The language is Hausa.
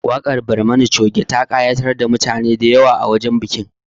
Waƙar Barmani Coge ta ƙayatar da mutane da yawa a wajen bikin